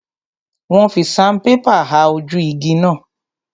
Wọ́n fi sanpépà ha ojú igi náà.